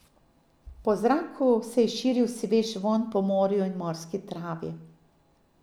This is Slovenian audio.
Po zraku se je širil svež vonj po morju in morski travi.